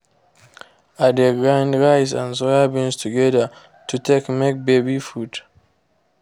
i de grind rice and soybeans together to take make baby food.